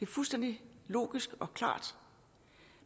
fuldstændig logisk og klart